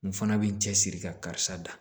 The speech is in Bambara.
N fana bɛ n cɛ siri ka karisa da